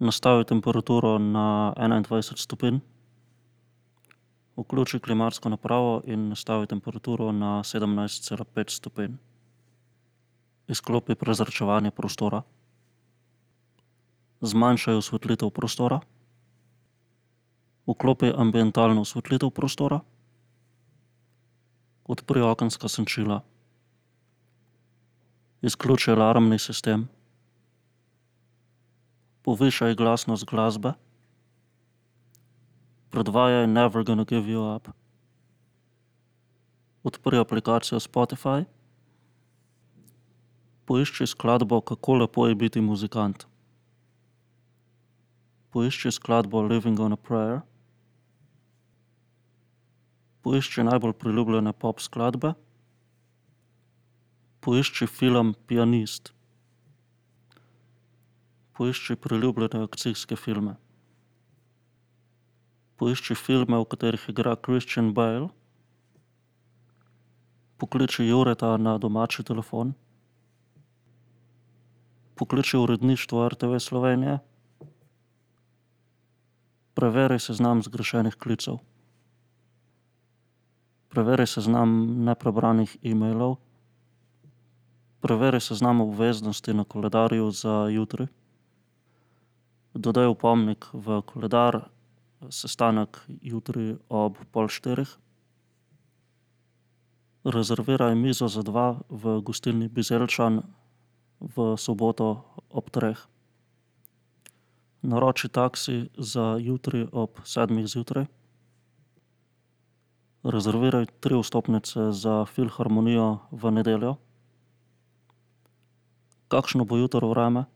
Nastavi temperaturo na enaindvajset stopinj. Vključi klimatsko napravo in nastavi temperaturo na sedemnajst cela pet stopinj. Izklopi prezračevanje prostora. Zmanjšaj osvetlitev prostora. Vklopi ambientalno osvetlitev prostora. Odpri okenska senčila. Izključi alarmni sistem. Povišaj glasnost glasbe. Predvajaj Never gonna give you up. Odpri aplikacijo Spotify. Poišči skladbo Kako lepo je biti muzikant. Poišči skladbo Living on a prayer. Poišči najbolj priljubljene pop skladbe. Poišči film Pianist. Poišči priljubljene akcijske filme. Poišči filme, v katerih igra Christian Bale. Pokliči Jureta na domači telefon. Pokliči uredništvo RTV Slovenija. Preveri seznam zgrešenih klicev. Preveri seznam neprebranih emailov. Preveri seznam obveznosti na koledarju za jutri. Dodaj opomnik v koledar: sestanek jutri ob pol štirih. Rezerviraj mizo za dva v gostilni Bizeljčan v soboto ob treh. Naroči taksi za jutri ob sedmih zjutraj. Rezerviraj tri vstopnice za filharmonijo v nedeljo. Kakšno bo jutri vreme?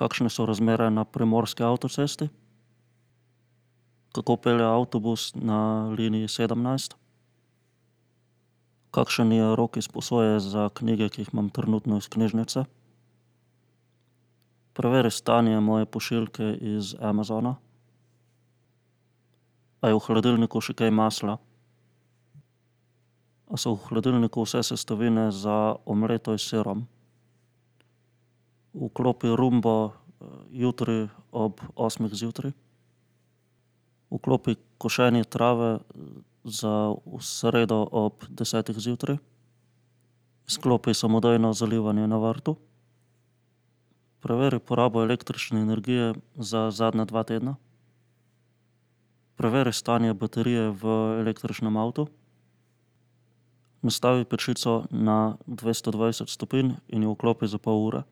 Kakšne so razmere na primorski avtocesti? Kako pelje avtobus na liniji sedemnajst? Kakšen je rok izposoje za knjige, ki jih imam trenutno iz knjižnice? Preveri stanje moje pošiljke iz Amazona. A je v hladilniku še kaj masla? A so v hladilniku vse sestavine za omleto s sirom? Vklopi rumbo jutri ob osmih zjutraj. Vklopi košenje trave za v sredo ob desetih zjutraj. Izklopi samodejno zalivanje na vrtu. Preveri porabo električne energije za zadnja dva tedna. Preveri stanje baterije v električnem avtu. Nastavi pečico na dvesto dvajset stopinj in jo vklopi za pol ure.